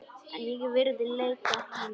En ég virði leit hans.